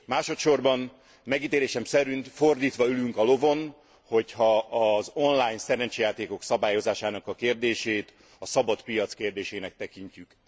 Másodsorban, megítélésem szerint fordítva ülünk a lovon, hogyha az online szerencsejátékok szabályozásának a kérdését a szabad piac kérdésének tekintjük.